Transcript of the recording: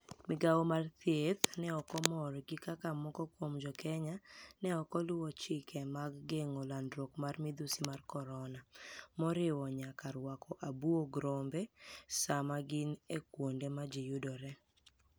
Migawo mar thieth ni e ok mor gi kaka moko kuom JoKeniya ni e ok oluwo chike mag genig'o lanidruok mar midhusi mar koronia, moriwo niyaka rwako abuog rombe Saama gini e kuonide ma ji yudore.